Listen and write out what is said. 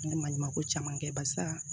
N ye maɲumako caman kɛ barisa